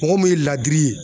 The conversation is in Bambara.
Mɔgɔ mun ye ladiri ye